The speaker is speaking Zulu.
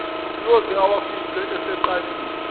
uyoze awafice eseqalile